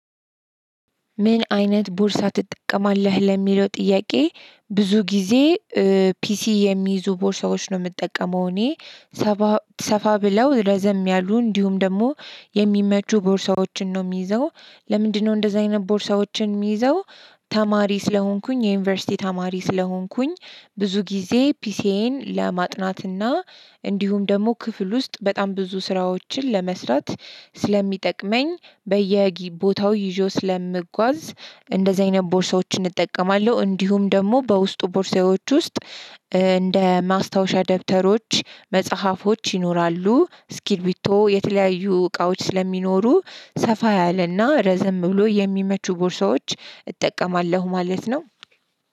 ምን አይነት ቦርሳ ትጠቀማለህ ለሚለው ጥያቄ? ብዙ ጊዜ ፒሲ የሚይዙ ቦርሳዎች ነው የምጠቀመው እኔ። ሰፋ ብለው ረዘም ያሉ እንዲሁም ደግሞ የሚመቹ ቦርሳዎችን ነው የሚይዘው። ለምንድነው እንደዚህ አይነት ቦርሳዎችን የሚይዘው? ተማሪ ስለሆንኩኝ የዩኒቨርሲቲ ተማሪ ስለሆንኩኝ ብዙ ጊዜ ፒሲዬን ለማጥናትና እንዲሁም ደግሞ ክፍል ውስጥ በጣም ብዙ ስራዎችን ለመስራት ስለሚጠቅመኝ በየቦታው ይዤው ስለምጓዝ እንደዚህ አይነት ቦርሳዎችን እጠቀማለሁ። እንዲሁም ደግሞ በውስጡ ቦርሳዎች ውስጥ። እንደ ማስታወሻ ደብተሮች መጽሐፎች ይኖራሉ እስክሪብቶ የተለያዩ እቃዎች ስለሚኖሩ ሰፋ ያለና ረዘም ብሎ የሚመቹ ቦርሳዎች እጠቀማለሁ ማለት ነው።